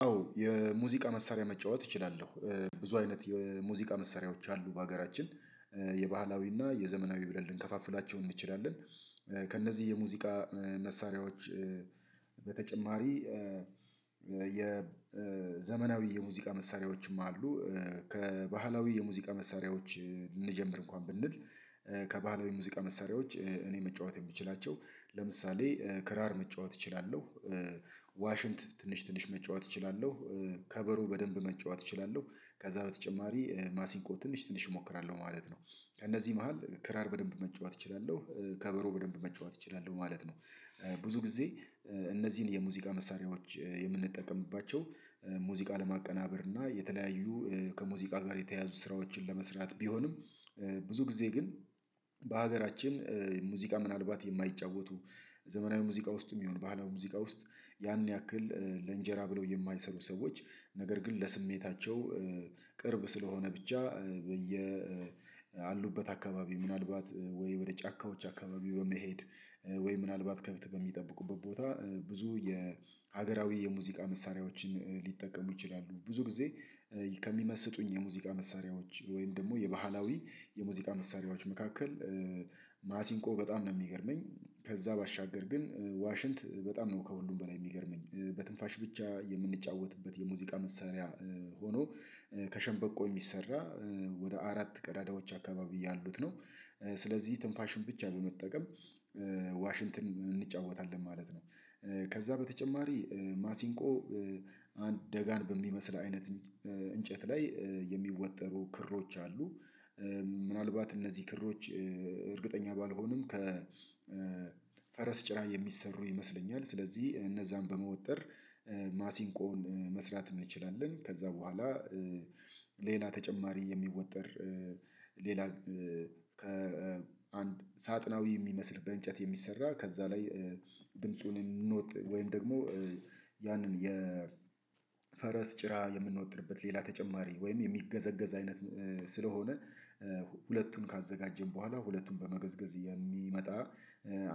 አዎ የሙዚቃ መሳሪያ መጫወት እችላለሁ። ብዙ አይነት የሙዚቃ መሳሪያዎች አሉ በሀገራችን። የባህላዊና የዘመናዊ ብለን ልንከፋፍላቸው እንችላለን ከእነዚህ የሙዚቃ መሳሪያዎች በተጨማሪ የዘመናዊ የሙዚቃ መሳሪያዎችም አሉ ከባህላዊ የሙዚቃ መሳሪያዎች እንጀምር እንኳን ብንል ከባህላዊ ሙዚቃ መሳሪያዎች እኔ መጫወት የምትችላቸው ለምሳሌ ክራር መጫወት እችላለሁ። ዋሽንት ትንሽ ትንሽ መጫወት እችላለሁ ከበሮ በደንብ መጫወት እችላለሁ ከዛ በተጨማሪ ማሲንቆ ትንሽ ትንሽ እሞክራለሁ ማለት ነው። ከእነዚህ መሃል ክራር በደንብ መጫወት እችላለሁ ከበሮ በደንብ መጫወት እችላለሁ ማለት ነው። ብዙ ጊዜ እነዚህን የሙዚቃ መሳሪያዎች የምንጠቀምባቸው ሙዚቃ ለማቀናበር እና የተለያዩ ከሙዚቃ ጋር የተያያዙ ስራዎችን ለመስራት ቢሆንም ብዙ ጊዜ ግን በሀገራችን ሙዚቃ ምናልባት የማይጫወቱ ዘመናዊ ሙዚቃ ውስጥም ይሁን ባለው ሙዚቃ ውስጥ ያን ያክል ለእንጀራ ብለው የማይሰሩ ሰዎች ነገር ግን ለስሜታቸው ቅርብ ስለሆነ ብቻ ያሉበት አካባቢ ምናልባት ወይ ወደ ጫካዎች አካባቢ በመሄድ ወይ ምናልባት ከብት በሚጠብቁበት ቦታ ብዙ የሀገራዊ የሙዚቃ መሳሪያዎችን ሊጠቀሙ ይችላሉ። ብዙ ጊዜ ከሚመስጡኝ የሙዚቃ መሳሪያዎች ወይም ደግሞ የባህላዊ የሙዚቃ መሳሪያዎች መካከል ማሲንቆ በጣም ነው የሚገርመኝ ከዛ ባሻገር ግን ዋሽንት በጣም ነው ከሁሉም በላይ የሚገርመኝ በትንፋሽ ብቻ የምንጫወትበት የሙዚቃ መሳሪያ ሆኖ ከሸንበቆ የሚሰራ ወደ አራት ቀዳዳዎች አካባቢ ያሉት ነው። ስለዚህ ትንፋሽን ብቻ በመጠቀም ዋሽንግተን እንጫወታለን ማለት ነው። ከዛ በተጨማሪ ማሲንቆ አንድ ደጋን በሚመስል አይነት እንጨት ላይ የሚወጠሩ ክሮች አሉ። ምናልባት እነዚህ ክሮች እርግጠኛ ባልሆንም ከፈረስ ጭራ የሚሰሩ ይመስለኛል ስለዚህ እነዛን በመውጠር ማሲንቆን መስራት እንችላለን። ከዛ በኋላ ሌላ ተጨማሪ የሚወጠር ሌላ ከአንድ ሳጥናዊ የሚመስል በእንጨት የሚሰራ ከዛ ላይ ድምፁን እንወቅ ወይም ደግሞ ያንን የፈረስ ጭራ የምንወጥርበት ሌላ ተጨማሪ ወይም የሚገዘገዝ አይነት ስለሆነ ሁለቱን ካዘጋጀን በኋላ ሁለቱን በመገዝገዝ የሚመጣ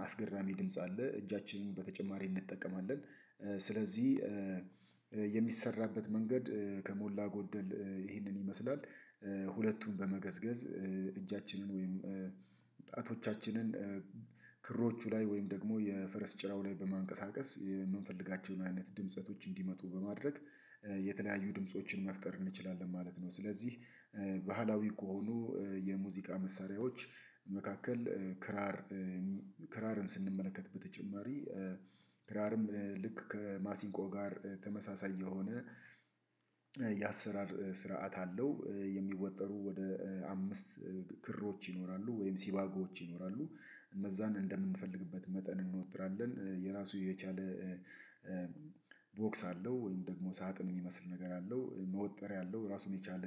አስገራሚ ድምጽ አለ እጃችንን በተጨማሪ እንጠቀማለን። ስለዚህ የሚሰራበት መንገድ ከሞላ ጎደል ይህንን ይመስላል ሁለቱን በመገዝገዝ እጃችንን ወይም ጣቶቻችንን ክሮቹ ላይ ወይም ደግሞ የፈረስ ጭራው ላይ በማንቀሳቀስ የምንፈልጋቸውን አይነት ድምጸቶች እንዲመጡ በማድረግ የተለያዩ ድምፆችን መፍጠር እንችላለን ማለት ነው። ስለዚህ ባህላዊ ከሆኑ የሙዚቃ መሳሪያዎች መካከል ክራር ክራርን ስንመለከት በተጨማሪ ክራርም ልክ ከማሲንቆ ጋር ተመሳሳይ የሆነ የአሰራር ስርዓት አለው የሚወጠሩ ወደ አምስት ክሮች ይኖራሉ ወይም ሲባጎዎች ይኖራሉ እነዛን እንደምንፈልግበት መጠን እንወጥራለን የራሱ የቻለ ቦክስ አለው ወይም ደግሞ ሳጥን የሚመስል ነገር አለው መወጠር ያለው ራሱን የቻለ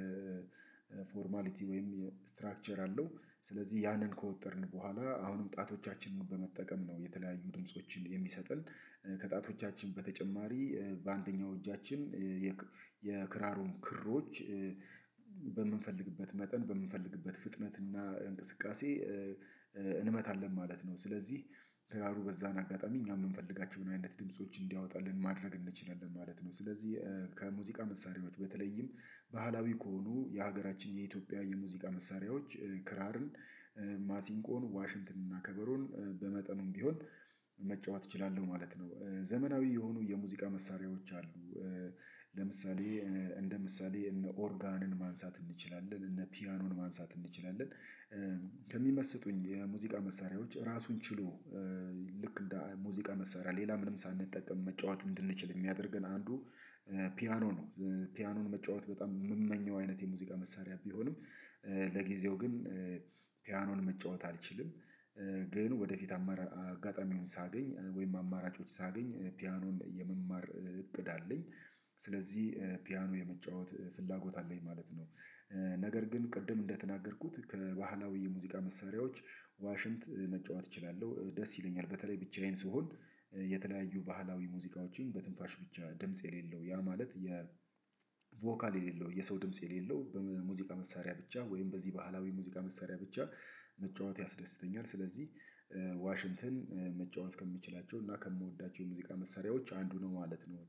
ፎርማሊቲ ወይም ስትራክቸር አለው ስለዚህ ያንን ከወጠርን በኋላ አሁንም ጣቶቻችንን በመጠቀም ነው የተለያዩ ድምፆችን የሚሰጥል ከጣቶቻችን በተጨማሪ በአንደኛው እጃችን የክራሩን ክሮች በምንፈልግበት መጠን በምንፈልግበት ፍጥነትና እንቅስቃሴ እንመታለን ማለት ነው። ስለዚህ ክራሩ በዚያ ካቀረብን እኛም የምንፈልጋቸው ምን ድምጾች እንዲያወጣልን ማድረግ እንደቻለን ማለት ነው ስለዚህ ከሙዚቃ መሳሪያዎች በተለይም ባህላዊ ከሆኑ የሀገራችን የኢትዮጵያ የሙዚቃ መሳሪያዎች ክራርን ማሲንቆን ዋሽንትን እና ከበሮን በመጠኑም ቢሆን መጫወት እችላለሁ ማለት ነው። ዘመናዊ የሆኑ የሙዚቃ መሳሪያዎች አሉ ለምሳሌ እንደ ምሳሌ እነ ኦርጋንን ማንሳት እንችላለን እነ ፒያኖን ማንሳት እንችላለን። ከሚመስጡኝ የሙዚቃ መሳሪያዎች ራሱን ችሉ ልክ እንደ ሙዚቃ መሳሪያ ሌላ ምንም ሳንጠቀም መጫወት እንድንችል የሚያደርገን አንዱ ፒያኖ ነው ፒያኖን መጫወት በጣም የምመኘው አይነት የሙዚቃ መሳሪያ ቢሆንም ለጊዜው ግን ፒያኖን መጫወት አልችልም። ግን ወደፊት አጋጣሚውን ሳገኝ ወይም አማራጮች ሳገኝ ፒያኖን የመማር እቅድ አለኝ። ስለዚህ ፒያኖ የመጫወት ፍላጎት አለኝ ማለት ነው ነገር ግን ቅድም እንደተናገርኩት ከባህላዊ የሙዚቃ መሳሪያዎች ዋሽንት መጫወት እችላለሁ ደስ ይለኛል በተለይ ብቻዬን ስሆን የተለያዩ ባህላዊ ሙዚቃዎችን በትንፋሽ ብቻ ድምጽ የሌለው ያ ማለት የቮካል የሌለው የሰው ድምጽ የሌለው በሙዚቃ መሳሪያ ብቻ ወይም በዚህ በዓላዊ ሙዚቃ መሳሪያ ብቻ መጫወት ያስደስተኛል። ስለዚህ ዋሽንትን መጫወት ከምችላቸው እና ከምወዳቸው ሙዚቃ መሳሪያዎች አንዱ ነው ማለት ነው።